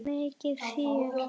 Mikið fjör.